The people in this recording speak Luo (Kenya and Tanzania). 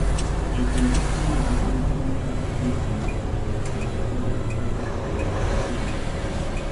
Jopur tiyo gi rieko mar jopur e ng'eyo kinde koda kaka onego gipidhe.